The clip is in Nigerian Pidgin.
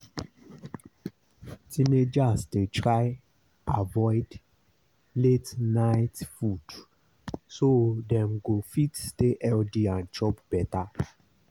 teenagers dey try avoid late-night food so dem go fit stay healthy and chop better.